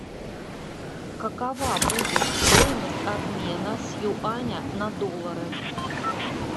какова будет стоимость обмена с юаней на доллары